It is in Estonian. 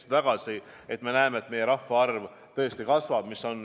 Me tahame näha, et meie rahvaarv tõesti kasvab.